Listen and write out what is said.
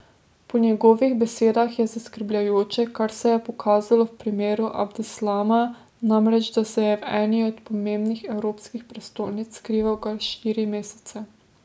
Po njegovih besedah je zaskrbljujoče, kar se je pokazalo v primeru Abdeslama, namreč da se je v eni od pomembnih evropskih prestolnic skrival kar štiri mesece.